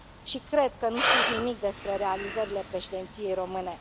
Și cred că nu știți nimic despre realizările Președinției române.